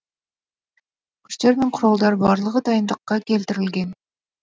күштер мен құралдар барлығы дайындыққа келтірілген